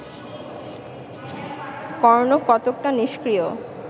কর্ণ কতকটা নিষ্ক্রিয়